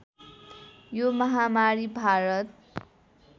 यो महामारी भारत